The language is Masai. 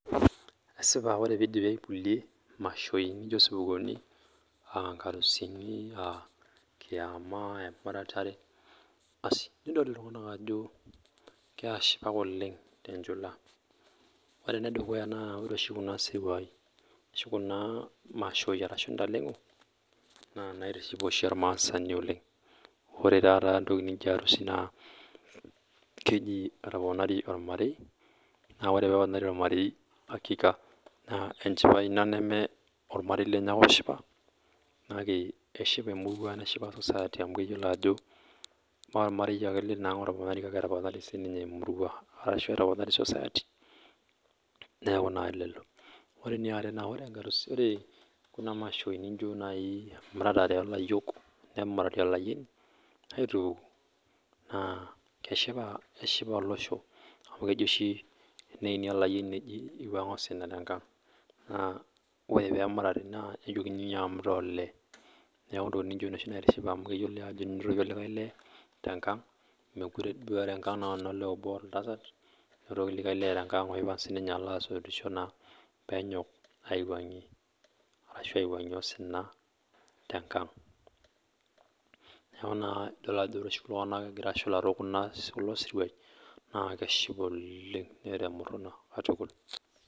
Esipa ore peeidipi aipulie imashoi naijo isupuuni aa inkarusuni aah kiama aah emuratare, asi nidol iltunganak ajo keashipak oleng tenjula .Ore ene dukuya na ore oshi kuna sirwai ,kuna mashoi arashu ntaleng'o naa naitiship oshi ormaasani oleng'. Ore taata entoki naijo arusi naa keji etoponari olmarei naa ore peeponari olmarei naa hakika naa enchipai ina neme olmarei lenye ake oshipa kake eshipa emerua neshipa society amu keyiolo ajo moolmarei ake leinaalo otoponari kake etoponari siininye emurua ashu etoponari society neeku naa lelo. Ore eniare naa ore kuna mashoi nijo nai emuratare oolayiok nemurati olayioni naa keshipa olosho amu keji oshi teneini olayioni neji eiwuang'a osina tenkang' naa ore peemurati nejokini inyio amu itaa olee niaku ntokiting naijo nena oshi nitiship amu keyioloi ajo enotoki olikai lee mekure duo enolee obo engang' kake enotoki likai lee olo siininye asotisho peeyok aiwuang'ie arashu peiwuang'ie osina tenkang'. Niaku naa tenidol oshi iltung'anak egira ashipa tekulo siruai naa keshipa oleng neeta emurhuna katukul